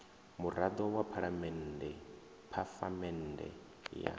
murado wa phalamende phafamende ya